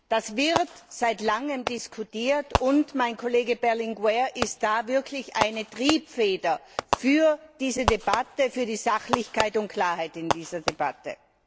Das wird seit langem diskutiert, und mein Kollege Berlinguer ist wirklich eine Triebfeder für diese Debatte, für die Sachlichkeit und Klarheit in dieser Debatte.